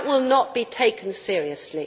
That will not be taken seriously.